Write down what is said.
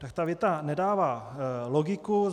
Tak ta věta nedává logiku.